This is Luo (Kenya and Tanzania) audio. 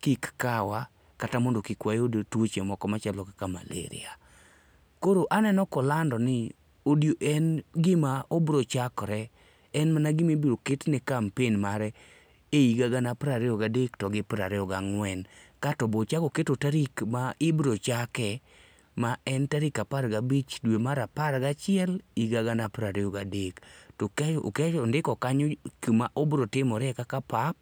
kik kawa kata mondo kik wayud tuoche moko machalomkaka malaria. Koro aneno ka olando ni odie en gima obiro chakore. En mana gima ibiro ketne kampen mare e higa gana piero ariyo ga dek to gi piero ariyo gang'wen. Kaeto be ochako keto tarik ma ibiro chake ma en tarik aparga bich dwe mar apar gachiel higa gana piero ariyo gadek to kato ondiko kanyo kuma obiro zmore kaka pap